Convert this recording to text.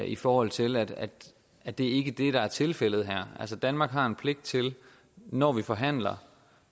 i forhold til at at det ikke er det der er tilfældet her danmark har en pligt til når vi forhandler